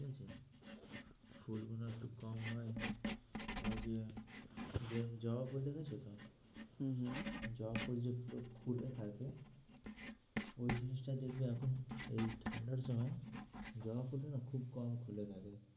কম হয় হয় যে যেরম জবা ফুল দেখছো তো? হম হম জবা ফুল যে গুলো খুলে থাকে ওই জিনিসটা দেখবে এখন এই ঠান্ডার সময় জবা ফুলটা না খুব কম খুলে থাকে,